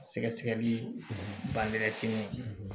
Sɛgɛsɛgɛli bangetimi